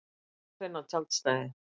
Ég skal finna tjaldstæði